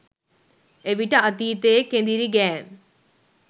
එවිට අතීතයේ කෙඳිරිගෑම්